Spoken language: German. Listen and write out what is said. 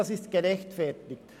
das ist gerechtfertigt.